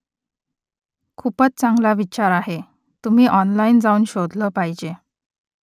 खूपच चांगला विचार आहे . तुम्ही ऑनलाइन जाऊन शोधलं पाहिजे